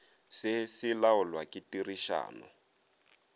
se se laolwa ke tirišano